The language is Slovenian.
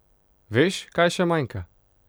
Veš, kaj še manjka?